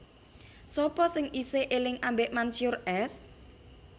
Sapa sing isih eling ambek Mansyur S?